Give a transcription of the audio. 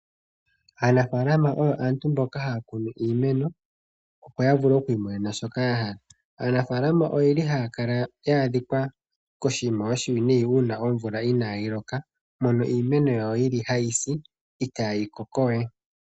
Aanafaalama oyo aantu mboka haya kunu iimeno opo yavule oku imonena shoka yahala. Aanafalama ohaya kala yu uvite nayi uuna omvula inaayi loka mono iimeno yawo hayi si itaayi kokowe.